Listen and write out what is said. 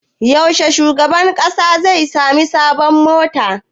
Yaushe shugaban ƙasa zai sami sabon mota?